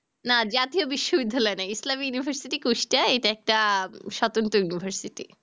না জাতীয় বিশ্ববিদ্যালয় না islam university course টা এটা একটা স্বতন্ত্র university